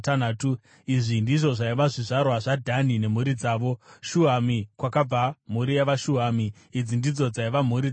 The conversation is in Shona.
Izvi ndizvo zvaiva zvizvarwa zvaDhani nemhuri dzavo: Shuhami, kwakabva mhuri yavaShuhami. Idzi ndidzo dzaiva mhuri dzaDhani: